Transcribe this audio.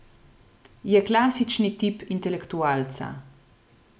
Je klasični tip intelektualca.